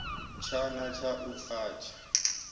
tshana tsha u a tsha